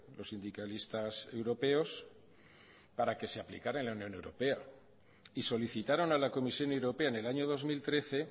los sindicalistas europeos para que se aplicara en la unión europea y solicitaron a la comisión europea en el año dos mil trece